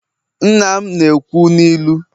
nna m na-ekwu n'ilu